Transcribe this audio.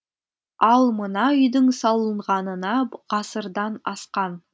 ал мына үйдің салынғанына ғасырдан асқан